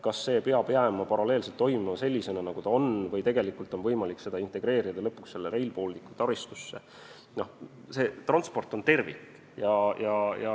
Kas see peab jääma paralleelselt toimima sellisena, nagu ta on, või on seda võimalik integreerida lõpuks Rail Balticu taristusse?